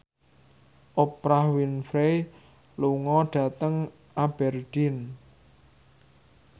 Oprah Winfrey lunga dhateng Aberdeen